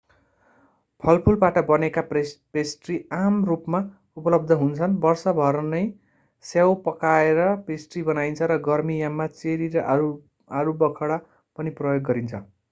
फलफूलबाट बनेका पेस्ट्री आम रूपमा उपलब्ध हुन्छन् वर्षभर नै स्याउ पकाएर पेस्ट्री बनाइन्छ र गर्मीयाममा चेरी र आलुबखडा पनि प्रयोग गरिन्छ